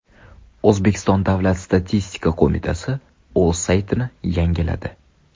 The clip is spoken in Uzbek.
O‘zbekiston Davlat statistika qo‘mitasi o‘z saytini yangiladi.